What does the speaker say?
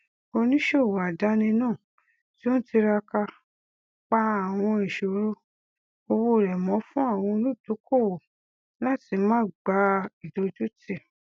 oníṣòwò àdáni náà tí ó n tiraka pa àwọn ìṣòro òwò rẹ mọ fún àwọn olùdókòwò láti má gbà ìdójútì